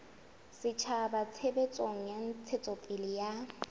setjhaba tshebetsong ya ntshetsopele ya